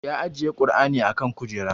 Ya ajiye kur'ani a kan kujera